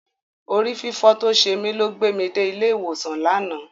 Orí fífọ́ tó ṣe mí ló gbé mi dé ilé ìwòsàn lánàá.